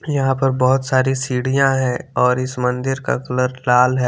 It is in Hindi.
यहाँ पर बहोत सारी सीढिया है और इस मंदिर का कलर लाल है।